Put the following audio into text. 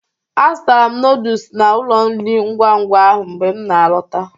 Azụtara m noodus na ụlọ nri ngwa ngwa ahụ mgbe m na-alọta